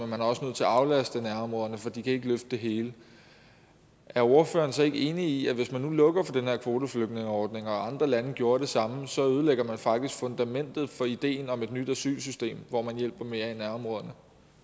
man er også nødt til at aflaste nærområderne for de kan ikke løfte det hele er ordføreren så ikke enig i at når man nu lukker for den her kvoteflygtningeordning og andre lande gjorde det samme så ødelægger man faktisk fundamentet for ideen om et nyt asylsystem hvor man hjælper mere i nærområderne